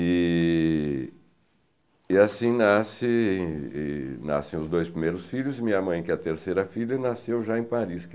E... e assim nasce e nascem os dois primeiros filhos e minha mãe, que é a terceira filha, nasceu já em Paris.